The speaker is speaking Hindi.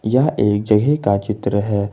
यह एक जगह का चित्र है।